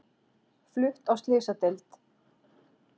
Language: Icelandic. Flutt á slysadeild